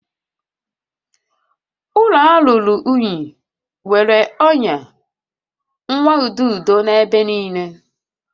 Ụlọ a ruru unyi, enwere ọnya nwaududo n'ebe niile